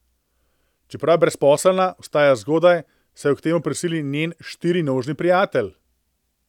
Čeprav je brezposelna, vstaja zgodaj, saj jo k temu prisili njen štirinožni prijatelj.